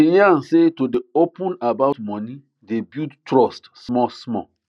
she yan say to dey open about money dey build trust small small